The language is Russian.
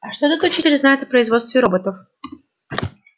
а что этот учитель знает о производстве роботов